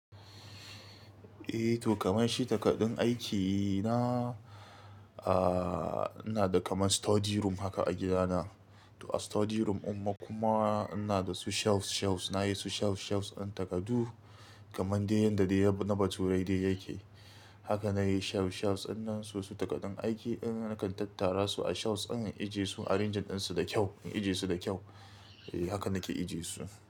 Eh to kamar shi takardun aikina, ah ina da kamar study room haka a gidana. To a study room im ma kuma ina da su shelves, shelves nayi su shelves, shelves ɗin takardu kamar dai yanda na bature dai yake. Haka nayi shelves, shelves ɗin nan su su takardun aiki ɗin nakan tattara su a shelves ɗin in ije su arranging ɗin su da kyau, in ije su da kyau. Eh haka nake ijiye su.